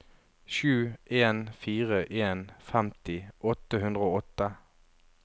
sju en fire en femti åtte hundre og åtte